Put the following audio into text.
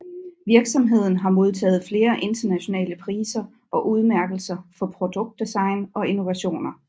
Virksomheden har modtaget flere internationale priser og udmærkelser for produktdesign og innovationer